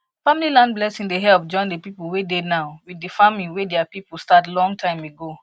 family land blessing dey help join the people wey dey now with the farming way their people start long time ago